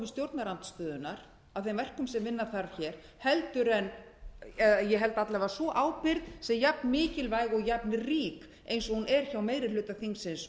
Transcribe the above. stjórnarandstöðunnar að þeim verkum sem vinna þarf hér ég held alla vega að sú ábyrgð sé jafnmikilvæg og jafnrík eins og hún er hjá meiri hluta þingsins